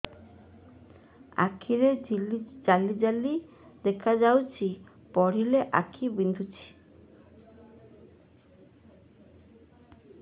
ଆଖି ଜାଲି ଜାଲି ଦେଖାଯାଉଛି ପଢିଲେ ଆଖି ବିନ୍ଧୁଛି